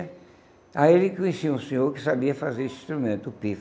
Aí ele conheceu um senhor que sabia fazer esse instrumento, o pife.